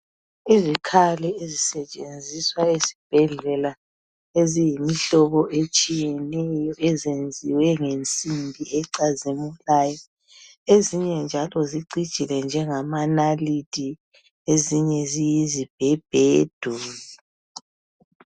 Izikhali ezisetshenziswa esibhedlela eziyimihlobo etshiyeneyo eziyenziwe ngensimbi ecazimulayo. Ezinye njalo zicijile njengama nalithi ezinye ziyizi bhebhedu.